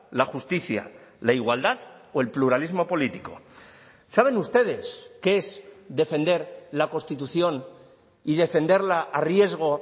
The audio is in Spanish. la justicia la igualdad o el pluralismo político saben ustedes qué es defender la constitución y defenderla a riesgo